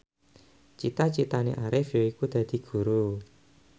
cita citane Arif yaiku dadi guru